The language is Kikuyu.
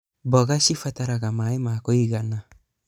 Mboga cibataraga maĩ ma kũigana.